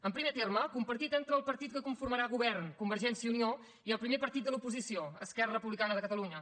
en primer terme compartit entre el partit que conformarà govern convergència i unió i el primer partit de l’oposició esquerra republicana de catalunya